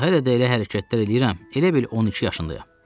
Ancaq hələ də elə hərəkətlər eləyirəm, elə bil 12 yaşındayam.